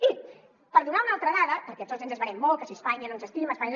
i per donar una altra dada perquè tots ens esverem molt que si espanya no ens estima espanya